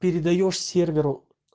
передаёшь серверу